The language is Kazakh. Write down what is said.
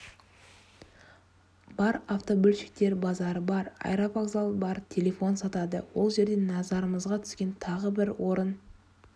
бар автобөлшектер базары бар аэровокзал бар телефон сатады ол жерде назарымызға түскен тағы бір орын